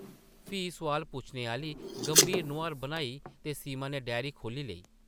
फ्ही सोआल पुच्छने आह्ली गंभीर नोहार बनाई ते सीमा नै डायरी खोह्ल्ली लेई ।